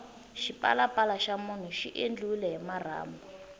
xipalapala xa munhu xi endliwile hi marhambu